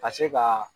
Ka se ka